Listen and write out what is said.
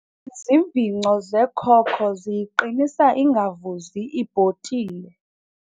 Izivingco zekoko ziyiqinisa ingavuzi ibhotile.